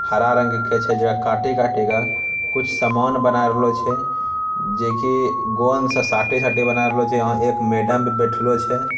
हरा रंग के छे जेकरा काटे काटे का कुछ सामान बना रहलो छे जेके गोंद से साटे साटे बना रहलो छे | यहाँ एक मैडम भी बैठलो छे |